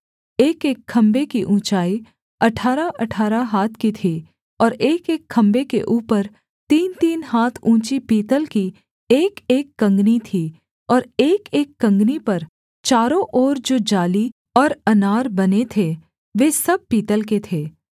एकएक खम्भे की ऊँचाई अठारहअठारह हाथ की थी और एकएक खम्भे के ऊपर तीनतीन हाथ ऊँची पीतल की एकएक कँगनी थी और एकएक कँगनी पर चारों ओर जो जाली और अनार बने थे वे सब पीतल के थे